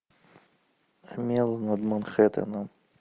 омела над манхэттеном